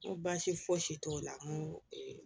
N ko baasi foysi t'o la n ko